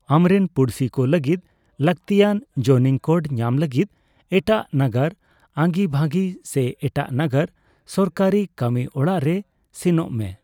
ᱟᱢᱨᱮᱱ ᱯᱩᱲᱥᱤ ᱠᱚ ᱞᱟᱹᱜᱤᱫ ᱞᱟᱠᱛᱤᱭᱟᱱ ᱡᱳᱱᱤᱝ ᱠᱳᱰ ᱧᱟᱢ ᱞᱟᱹᱜᱤᱫ ᱮᱴᱟᱜ ᱱᱟᱜᱟᱨ ᱟᱹᱜᱤᱵᱷᱟᱹᱵᱤ ᱥᱮ ᱮᱴᱟᱜ ᱱᱟᱜᱟᱨ ᱥᱚᱨᱠᱟᱨᱤ ᱠᱟᱹᱢᱤ ᱚᱲᱟᱜ ᱨᱮ ᱥᱮᱱᱚᱜ ᱢᱮ᱾